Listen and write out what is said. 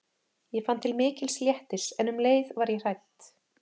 Ég fann til mikils léttis en um leið var ég hrædd.